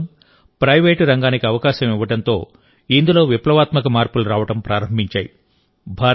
యువత కోసం ప్రైవేట్ రంగానికి అవకాశం ఇవ్వడంతో ఇందులో విప్లవాత్మక మార్పులు రావడం ప్రారంభించాయి